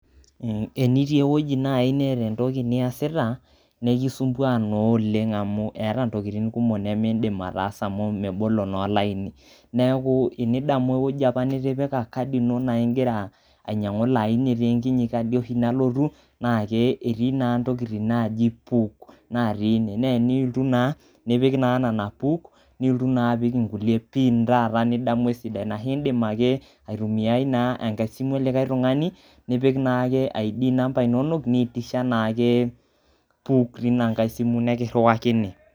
Enitii ewoji naai neeta entoki niasita nekisumbua naa oleng' amu eeta intokiting kumok nemiidim ataasa amu mebolo naa olaini. Neeku enidamu ewueji nitipika kadi ino naa ing'ira ainyang'u ilo aini, eti oshi enkinyi kadi naotu naake eti naa intokiti naaji ''PUK'' natii ine nee iniltu naa nipik naa nena PUK niiltu naa apik ing'ulie PIN taata nidamu esidai anashe indim ake aitumiai naa enkai simu olikai tung'ani nipik naake ID number inonok, niitish naae PUK tinang'ai simu nekiriwakini.